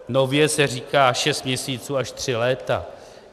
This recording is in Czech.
Nově se říká šest měsíců až tři léta.